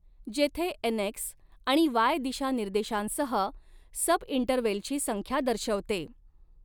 जेथे N X आणि Y दिशानिर्देशांसह सबइंटरवेलची संख्या दर्शवते.